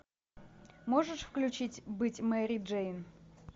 можешь включить быть мэри джейн